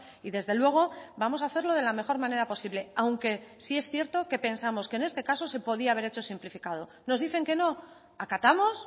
y desde luego vamos a hacerlo de la mejor manera posible aunque sí es cierto que pensamos que en este caso se podía haber hecho simplificado nos dicen que no acatamos